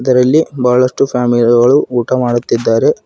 ಇದರಲ್ಲಿ ಬಹಳಷ್ಟು ಫ್ಯಾಮಿಲಿ ಗಳು ಊಟ ಮಾಡುತ್ತಿದ್ದಾರೆ.